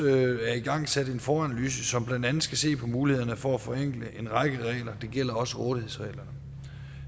er igangsat en foranalyse som blandt andet skal se på mulighederne for at forenkle en række regler det gælder også rådighedsreglerne